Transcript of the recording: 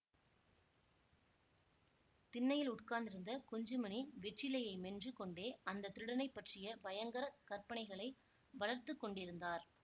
திண்ணையில் உட்கார்ந்திருந்த குஞ்சுமணி வெற்றிலையை மென்று கொண்டே அந்த திருடனைப் பற்றிய பயங்கர கற்பனைகளை வளர்த்து கொண்டிருந்தார்